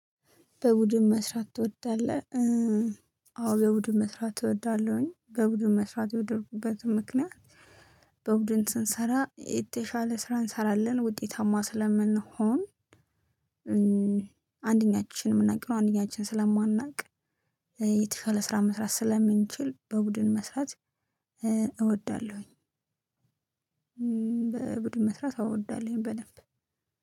በቡድን መስራት ትወዳለህ? አዎ የቡድን መስራት እወዳለሁኝ በቡድን መስራት የወደድኩበት ምክንያት በቡድን ስንሰራ የተሻለ ስራ እንሰራለን ውጤታማ ስለምንሆን አንድኛችን የምናውቀውን አንድኛችን ስለማናውቅ የተሻለ ስራ መስራት ስለምንችል በቡድን መስራት እወዳለሁ። በቡድን መስራት እወዳለሁኝ በደንብ